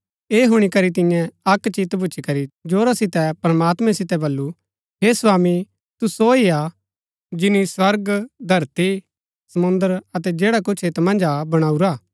ऐह हुणी करी तिन्ये अक्क चित भूच्ची करी जोरा सितै प्रमात्मैं सितै बल्लू हे स्वामी तू सो ही हा जिनी स्वर्ग धरती समुंद्र अतै जैडा कुछ ऐत मन्ज हा बणाऊरा